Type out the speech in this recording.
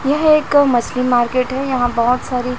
यह एक मछली मार्केट है यहां बहोत सारी--